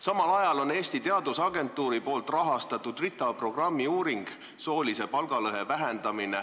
Samal ajal on Eesti Teadusagentuur rahastanud RITA programmi uuringut "Soolise palgalõhe vähendamine".